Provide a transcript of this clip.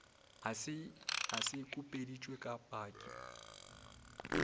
a se khupeditše ka paki